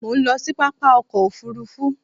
Mo ń lọ sí pápá ọkọ òfuurufú